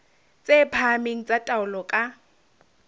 tse phahameng tsa taolo ka